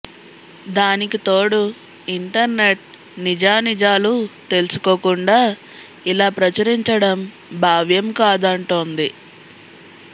దానికి తోడు ఇంటర్నెట్ నిజానిజాలు తెలుసుకోకుండా ఇలా ప్రచురించడం బావ్యం కాదంటోంది